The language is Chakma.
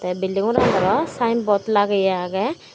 building ghoran aro signboard lagiya aage.